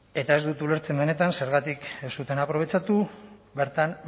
eta ez dut ulertzen benetan zergatik ez zuten aprobetxatu bertan